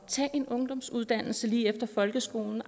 tage en ungdomsuddannelse lige efter folkeskolen